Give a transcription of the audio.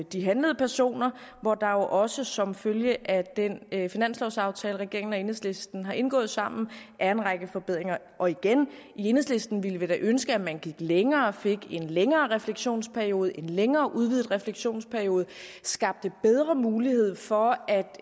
de handlede personer hvor der jo også som følge af den finanslovsaftale regeringen og enhedslisten har indgået sammen er en række forbedringer og igen i enhedslisten ville vi da ønske at man gik længere og fik en længere refleksionsperiode en længere udvidet refleksionsperiode og skabte bedre mulighed for at